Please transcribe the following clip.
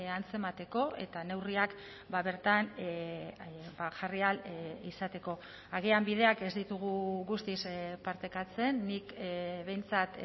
antzemateko eta neurriak bertan jarri ahal izateko agian bideak ez ditugu guztiz partekatzen nik behintzat